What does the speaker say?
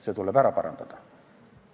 See tuleb ära parandada.